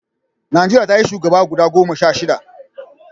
Najeriya ta yi shugaba guda goma sha shida